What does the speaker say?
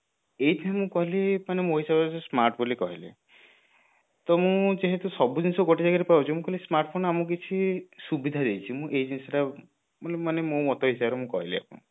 ଏଇଠି ମୁଁ କହିବି ମାନେ ମୋ ହିସାବରେ ଯଦି smart ବୋଲି କହିଲେ ତ ମୁଁ ଯେହେତୁ ସବୁଜିନିଷ ଗୋଟେ ଜାଗାରେ ପାଉଛି ମୁଁ କହିଲି smartphone ଆମକୁ କିଛି ସୁବିଧା ଦେଇଛି ମୁଁ ଏଇ ଜିନିଷ ଟା ମାନେ ମୋ ମତ ହିସାବରେ ମୁଁ କହିଲି ଆପଣଙ୍କୁ